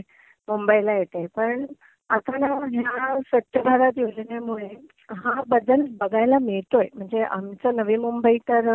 मुंबई ला येते कारण या स्वच्छ भारत योजनेमुळे हा बदल बघायला मिळतोय. म्हणजे आमचा नवी मुंबई तर